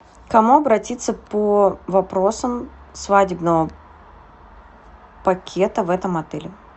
к кому обратиться по вопросам свадебного пакета в этом отеле